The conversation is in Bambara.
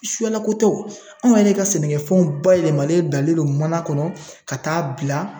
Suyalako tɛ o, anw yɛrɛ ka sɛnɛkɛfɛnw bayɛlɛmalen bilalen don mana kɔnɔ ka taa bila